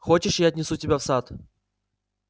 хочешь я отнесу тебя в сад